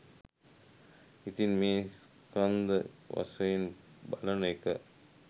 ඉතින් මේ ස්කන්ධ වශයෙන් බලන එක